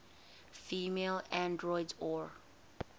female androids or